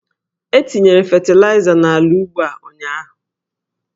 E tinyere fetịlaịza n'ala ugbo a ụnyaahụ.